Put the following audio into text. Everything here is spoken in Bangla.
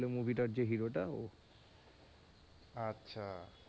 আচ্ছা,